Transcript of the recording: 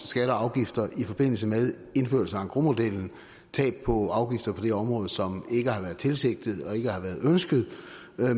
skatter og afgifter i forbindelse med indførelse af engrosmodellen tab på afgifter på det område som ikke har været tilsigtede og ikke har været ønskede